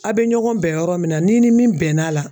A' be ɲɔgɔn bɛn yɔrɔ min na n'i ni min bɛn'a la